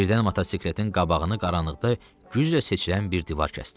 Birdən motosikletin qabağını qaranlıqda güclə seçilən bir divar kəsdi.